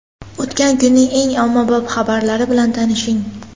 O‘tgan kunning eng ommabop xabarlari bilan tanishing.